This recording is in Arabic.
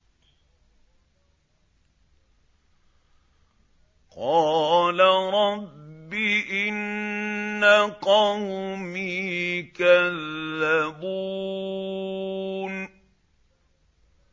قَالَ رَبِّ إِنَّ قَوْمِي كَذَّبُونِ